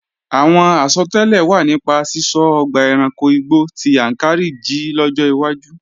Àwọn àsọtẹ́lẹ̀ wà nípa sísọ ọgbà ẹranko igbó ti Yàǹkàrí jí lọ́jọ́ iwájú